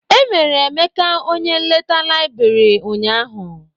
E mere Emeka onye nleta laịbrị ụnyaahụ.